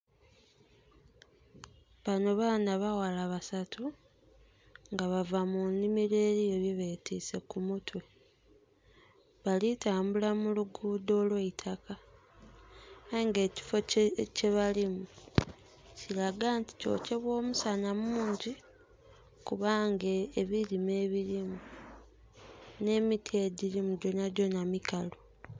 Bano baana baghala basatu nga bava mu nhimiro eliyo bye betiise ku mitwe. Bali tambula mu luguudho olw'eitaka aye nga ekifo kyebalimu kiraga nti kyokyebwa omusana mungyi kubanga ebilime ebilimu nh'emiti egyilimu gyona gyona mikalu.